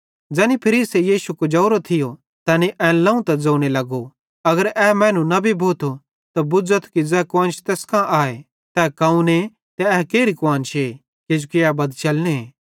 ज़ैनी फरीसे यीशु कुजोरो थियो तैनी एन लाव त ज़ोने लगो अगर ए मैनू नबी भोथो त बुझ़ेथो कि ज़ै कुआन्श तैस कांए तै कौने ते ए केरि कुआन्शे किजोकि ए बदचलने